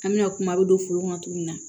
An bɛna kuma bɛ don foro kɔnɔ cogo min na